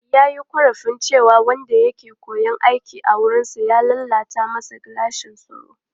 Ya yi korafin cewa wanda ya ke koyon aiki a wurinsa ya lalata masa gilashin tsaro.